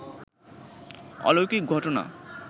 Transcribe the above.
অলৌকিক ঘটনা